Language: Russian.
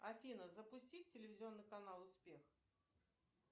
афина запусти телевизионный канал успех